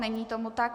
Není tomu tak.